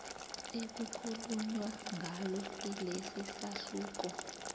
ekukhulunywa ngalo kilesisahluko